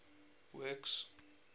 works